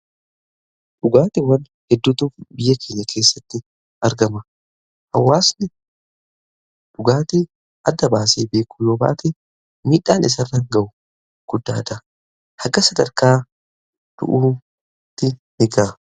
dhugaatiwwan hedduutu biyya keenya keessatti argama. hawaasni dhugaati adda baasee beekuu yoo baate midhaan isarran ga'u guddaadha. hanga sadarkaa du'uutti ni ga'a.